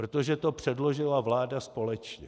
Protože to předložila vláda společně.